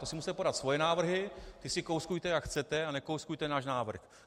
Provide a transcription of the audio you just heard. To si musíte podat svoje návrhy, ty si kouskujte, jak chcete, a nekouskujte náš návrh.